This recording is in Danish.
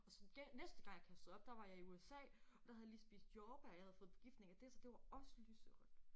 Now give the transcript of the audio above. Og så næste gang jeg kastede op der var jeg i USA og der havde jeg lige spist jordbær jeg havde fået forgiftning af det så det var også lyserødt